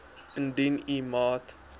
indien u maat